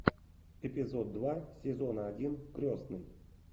эпизод два сезона один крестный